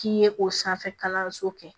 K'i ye o sanfɛ kalanso kɛ